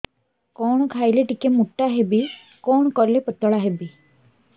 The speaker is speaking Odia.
କଣ ଖାଇଲେ ଟିକେ ମୁଟା ହେବି କଣ କଲେ ପତଳା ହେବି